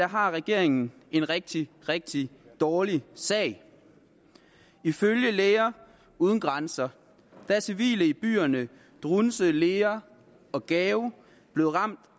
har regeringen en rigtig rigtig dårlig sag ifølge læger uden grænser er civile i byerne douentza lere og gao blevet ramt